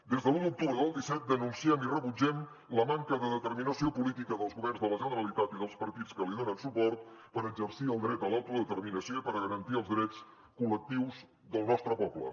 des de l’un d’octubre del disset denunciem i rebutgem la manca de determinació política dels governs de la generalitat i dels partits que hi donen suport per exercir el dret a l’autodeterminació i per a garantir els drets col·lectius del nostre poble